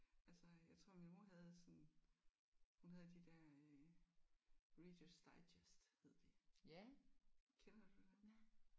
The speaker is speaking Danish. Altså jeg tror min mor havde sådan hun havde de der øh Reader's Digest hed de. Kender du dem?